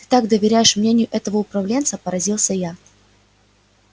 ты так доверяешь мнению этого управленца поразился я